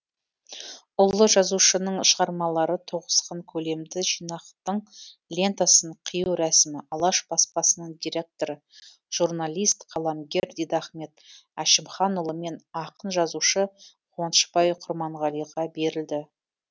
ұлы жазушының шығармалары тоғысқан көлемді жинақтың лентасын қию рәсімі алаш баспасының директоры журналист қаламгер дидахмет әшімханұлы мен ақын жазушы қуанышбай құрманғалиға берілді